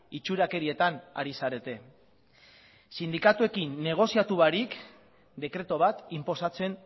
itxurakerietan ari zarete sindikatuekin negoziatu barik dekretu bat inposatzen